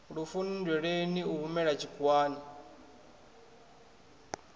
lufuni nndweleni a humela tshikhuwani